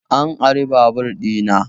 An ari babur ɗina